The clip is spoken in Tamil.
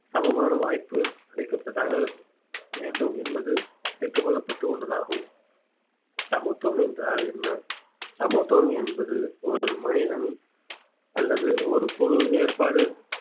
சமமான வாய்ப்பு அளிக்கப்பட்டதாக வேண்டும் என்பது கேட்டுக் கொள்ளப்பட்டு உள்ளதாகவும் சமத்துவம் என்றால் என்ன சமத்துவம் என்பது ஒரு மனிதன் அல்லது ஒரு குழு வேறுபாடு